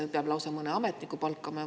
Kas peab lausa mõne ametniku palkama?